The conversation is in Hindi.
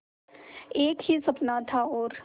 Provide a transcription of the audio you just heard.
एक ही सपना था और